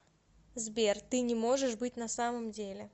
сбер ты не можешь быть на самом деле